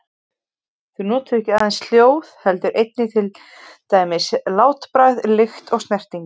Þau nota ekki aðeins hljóð heldur einnig til dæmis látbragð, lykt eða snertingu.